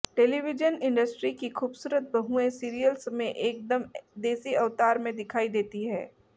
television industry की खूबसूरत बहूएं सीरियल्स में एक दम देसी अवतार में दिखाई देती हैं